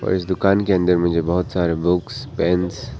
इस दुकान के अंदर में जो बहुत सारे बुक्स पेंस --